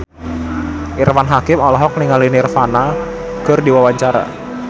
Irfan Hakim olohok ningali Nirvana keur diwawancara